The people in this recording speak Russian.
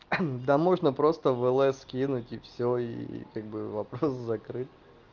да можно просто влс скинуть и все и как бы вопрос закрыт